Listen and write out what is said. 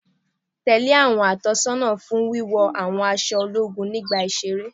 Tẹ́lẹ̀ àwọn ìtọ́sọ́nà fún wíwọ àwọn aṣọ ológun nígbà iṣẹ́ rẹ